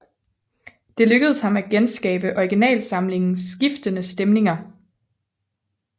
Det lykkedes ham at genskabe originalsamlingens skiftende stemninger